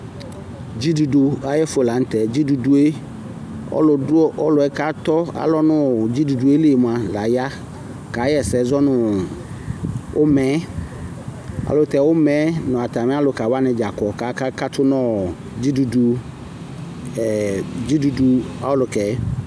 dzidudu ayi ɛfu lantɛ dzidudu yɛ ɔlò du ɔlòɛ k'atɔ alɔ no ɔ dzidudu yɛ li yɛ moa la ya ka ɣa ɛsɛ zɔ no ɔma yɛ ɛlutɛ ɔma yɛ n'atami aluka wani dza kɔ k'aka katu no dzidudu ɛ dzidudu ɔlukaɛ.